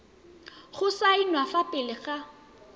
go saenwa fa pele ga